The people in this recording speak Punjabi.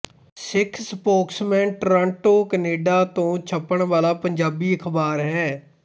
ਸਿੱਖ ਸਪੋਕਸਮੈਨ ਟੋਰਾਂਟੋ ਕੈਨੇਡਾ ਤੋਂ ਛਪਣ ਵਾਲਾ ਪੰਜਾਬੀ ਅਖ਼ਬਾਰ ਹੈ